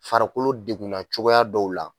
Farikolo degunna cogoya dɔw la